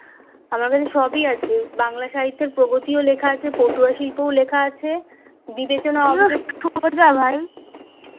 আমার কাছে সবই আছে বাংলা সাহিত্যের প্রগতিও লেখা আছে পটুয়া শিল্প লেখা আছে বিবেচনা অবিবেচনা